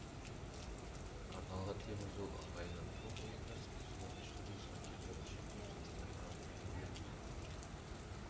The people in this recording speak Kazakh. арналған темір жол ыңғайлы бұл ойындар спортшылар үшін де жанкүйерлер үшін де есте қалатын ойын